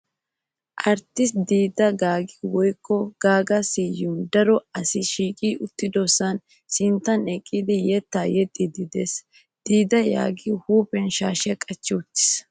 Arttisttiyaa Diiddi Gaaggi woykko Gaagga Siyumi daro asay shiiqidi uttidosaa sinttan eqqidi yettaa yexxiiddi de"ees. Diidi Gaaggi huuphiyan shaashiyaa qaci uttiis.